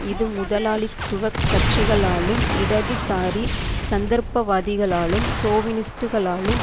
இது முதலாளித்துவ கட்சிகளாலும் இடதுசாரி சந்தர்ப்பவாதிகளாலும் சோவினிஸ்டுகளாலும்